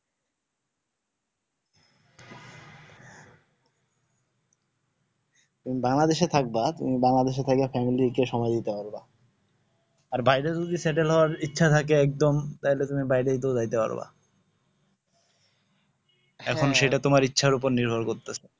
তুমি বাংলাদেশ এ থাকবা তুমি বাংলাদেশ করবা family যে সময় দিতে পারবা আর বাইরে যদি settle হউয়ার ইচ্ছা থাকে একদম তাহলে তুমি বাইরেই তো জাইতে পারবা এখন সেটা তোমার উপর নির্ভর করতাসে